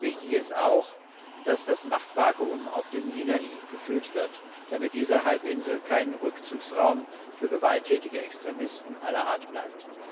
Wichtig ist auch, dass das Machtvakuum auf dem Sinai gefüllt wird, damit diese Halbinsel kein Rückzugsraum für gewalttätige Extremisten aller Art bleibt.